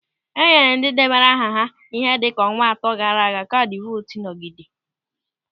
E nyere ndị debara aha ha ihe dịka ọnwa atọ gaara aga kaadị vootu nnọgide.